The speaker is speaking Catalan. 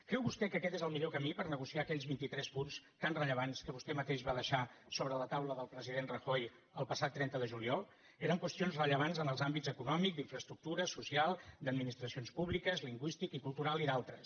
creu vostè que aquest és el millor camí per negociar aquells vint itres punts tan rellevants que vostè mateix va deixar sobre la taula del president rajoy el passat trenta de juliol eren qüestions rellevants en els àmbits econòmic d’infraestructures social d’administracions públiques lingüístic i cultural i d’altres